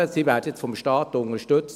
Sie werden jetzt vom Staat unterstützt.